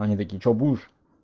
они такие что будешь